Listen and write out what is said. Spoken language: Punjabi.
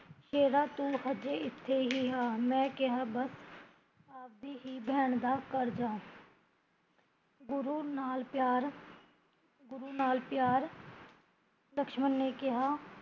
ਬੇਟਾ ਤੂ ਹਜੇ ਇੱਥੇ ਹੀਂ ਆ, ਮੈਂ ਕਿਹਾ ਬਸ ਅਵਦੀ ਹੀਂ ਬੈਣ ਦਾ ਗ਼ਰ ਜਾ ਗੁਰੂ ਨਾਲ਼ ਪਿਆਰ ਗੁਰੂ ਨਾਲ਼ ਪਿਆਰ ਲਕਸ਼ਮਣ ਨੇ ਕਿਹਾ